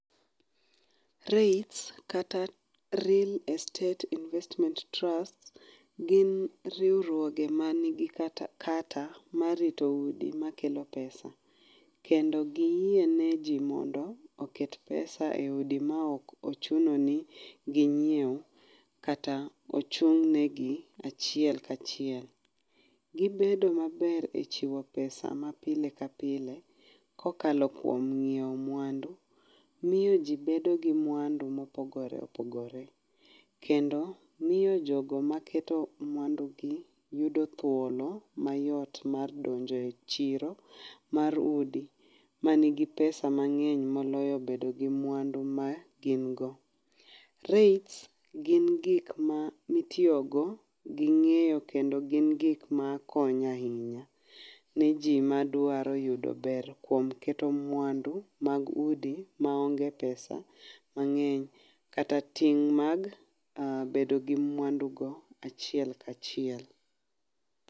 REITs kata Real Estate Investment Trusts gin riwruoge ma gin kata gi kata mar rito udi makelo pesa kendo giyie neji mondo oket pesa] eudi maok ochuno ni ginyiew kata ochung' negi achiel ka chiel. Gibed maber e chiwo pesa mapile ka pile kokalo kuom nyiewo mwandu, miyo ji bedo gi mwandu mopogore opogore kendo miyo jogo maketo makelo mwandugi yudo thuolo mayot mar donjo e chiro mar udi manigi pesa mang'eny moloyo bedo gi mwandu magin go. Reits gin gik ma itiyogo ging'eyo kendo gin gik makonyo ahinya ne ji madwaro yudo ber kuom keto mwandu mag udi maonge pesa mang'eny kata ting' mar bedo gi mwandu go achiel ka chiel.